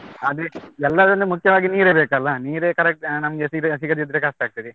ಅದೇ ಎಲ್ಲರನ್ನು ಮುಖ್ಯವಾಗಿ ನೀರೇ ಬೇಕಲ್ಲ, ನೀರೇ correct ಆ ನಮ್ಗೆ ಸಿಗ~ ಸಿಗದಿದ್ರೆ ಕಷ್ಟ ಆಗ್ತದೆ.